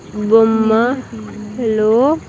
బొమ్మ లో--